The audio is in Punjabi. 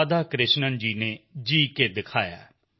ਰਾਧਾਕ੍ਰਿਸ਼ਣਨ ਜੀ ਨੇ ਜੀਅ ਕੇ ਦਿਖਾਇਆ